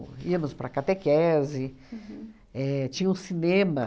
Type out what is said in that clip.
Íamos para a catequese, éh tinha um cinema.